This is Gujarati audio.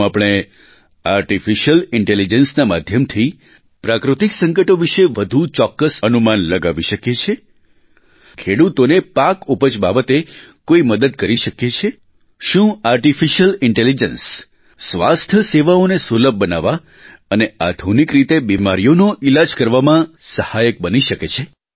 શું આપણે આર્ટીફિશિયલ ઇન્ટેલિજન્સના માધ્યમથી પ્રાકૃતિક સંકટો વિષે વધુ ચોક્કસ અનુમાન લગાવી શકીએ છીએ ખેડૂતોને પાક ઉપજ બાબતે કોઇ મદદ કરી શકીએ છીએ શું આર્ટીફિશિયલ ઇન્ટેલિજન્સ સ્વાસ્થ્ય સેવાઓને સુલભ બનાવવા અને આધુનિક રીતે બિમારીઓનો ઇલાજ કરવામાં સહાયક બની શકે છે